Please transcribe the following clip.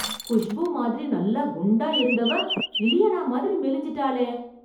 குஷ்பூ மாதிரி நல்லா குண்டா இருந்தவ, இலியானா மாதிரி மெலிஞ்சிட்டாளே...